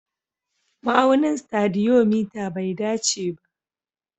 Ma'aunin stadiometer bai dace ba